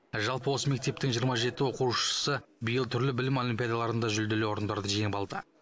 жалпы осы мектептің жиырма жеті оқушысы биыл түрлі білім олимпиадаларында жүлделі орындарды жеңіп алды